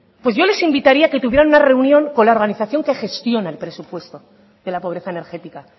pues yo les invitaría que tuvieran una reunión con la organización que gestiona el presupuesto de la pobreza energética